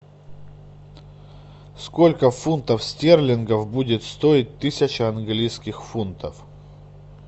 сколько фунтов стерлингов будет стоить тысяча английских фунтов